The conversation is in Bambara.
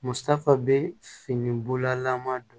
Musaka bɛ fini bololama don